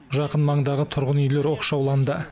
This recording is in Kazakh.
жақын маңдағы тұрғын үйлер оқшауланды